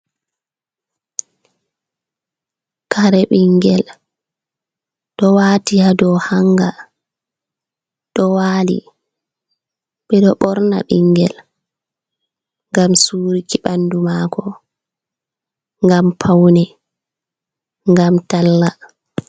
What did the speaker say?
Kare ɓinngel, ɗo waati haa dow hannga, ɗo waali. Ɓe ɗo ɓorna ɓinngel, ngam suuruki ɓanndu maako, ngam pawne, ngam talla.